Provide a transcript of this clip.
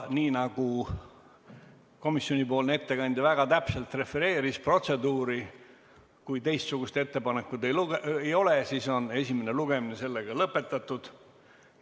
Nii nagu komisjoni ettekandja väga täpselt refereeris protseduuri, kui teistsugust ettepanekut ei ole, siis on esimene lugemine lõpetatud.